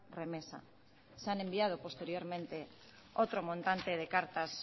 remesa se han enviado posteriormente otro montante de cartas